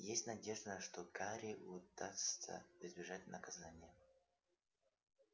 есть надежда что гарри удастся избежать наказания